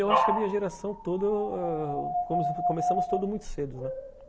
Eu acho que a minha geração toda ãh começamos todos muito cedo.